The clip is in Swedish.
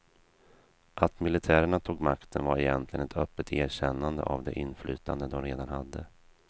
Att militärerna tog makten var egentligen ett öppet erkännande av det inflytande de redan hade.